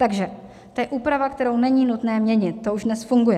Takže to je úprava, kterou není nutné měnit, ta už dnes funguje.